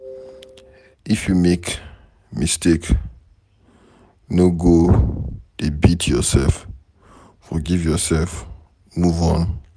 If you make mistake, no go dey beat yourself forgive yourself move on.